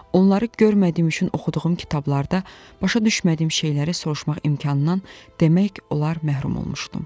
Onları görmədiyim üçün oxuduğum kitablarda başa düşmədiyim şeyləri soruşmaq imkanından demək olar məhrum olmuşdum.